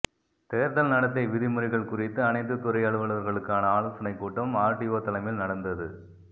தேர்தல் நடத்தை விதிமுறைகள் குறித்து அனைத்து துறை அலுவலர்களுக்கான ஆலோசனை கூட்டம் ஆர்டிஓ தலைமையில் நடந்தது